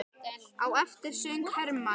Á eftir söng Hermann